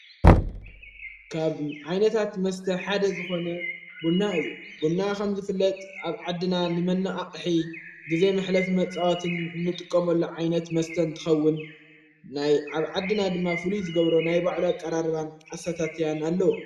ካብ ዓይነታት መስተ ሓደ ዝኾነ ቡና እዩ ብና ኸም ዘፍለጥ ኣብ ዓድና ሊመና ኣቕሒ ጊዜ ምኅለፊ መጽዋትን ንጥቀምሎ ዓይነት መስተን ትኸውን ናይ ኣብ ዓድና ድማ ፍሉዩ ዝገብሮ ናይ ባዕዶ ቃራርባን ኣሳታትያን ኣለዎ።